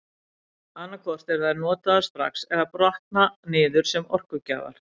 Annað hvort eru þær notaðar strax eða brotna niður sem orkugjafar.